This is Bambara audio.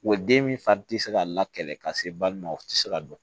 Wa den min fari ti se ka la kɛlɛ ka se balima o ti se ka dɔn